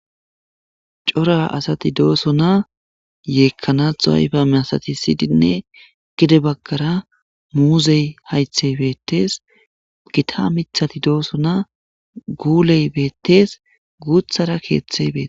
Cora asati dooso na yeekkanaxu haybame asati siydinne gide baggara muuzey haythey beettees gita mithati dooso na guuley beettees guuthara keeththey bete.